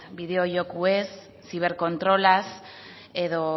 bideo jokoez ziberkontrolaz edo